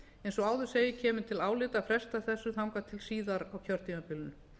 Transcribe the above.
eins og áður segir kemur til álita að fresta þessu þangað til síðar á kjörtímabilinu